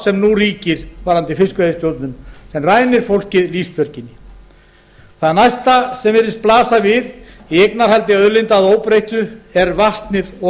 sem rænir fólkið lífsbjörginni það næsta sem virðist blasa við í eignarhaldi auðlinda að óbreyttu er vatnið og